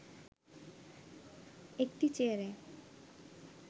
একটি চেয়ারে